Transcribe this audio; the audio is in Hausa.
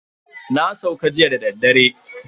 Na sauka jiya dadaddare.